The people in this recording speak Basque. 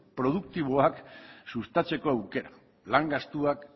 produktiboak sustatzeko aukera lan gastuak